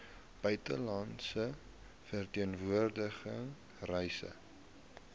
buitelandse verteenwoordiging reise